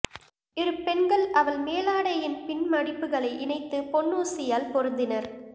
இரு பெண்கள் அவள் மேலாடையின் பின்மடிப்புகளை இணைத்து பொன்னூசியால் பொருத்தினர்